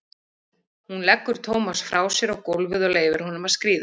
Hún leggur Tómas frá sér á gólfið og leyfir honum að skríða.